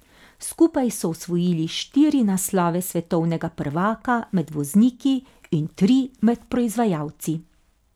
Skupaj so osvojili štiri naslove svetovnega prvaka med vozniki in tri med proizvajalci.